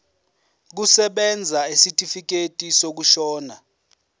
kusebenza isitifikedi sokushona